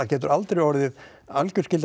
getur aldrei orðið algjör skylda